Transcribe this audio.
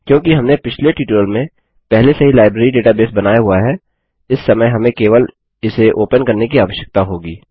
क्योंकि हमने पिछले ट्यूटोरियल में पहले से ही लाइब्रेरी डेटाबेस बनाया हुआ है इस समय हमें केवल इसे ओपन करने की आवश्यकता होगी